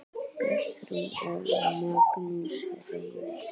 Guðrún og Magnús Reynir.